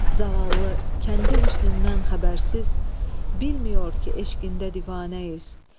Zavallı, kəndi hüsnündən xəbərsiz, bilməyir ki, eşqində divanəyik.